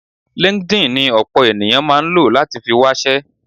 LinkedIn ni ọ̀pọ̀ ènìyàn máa ń lò láti fi wáṣẹ́.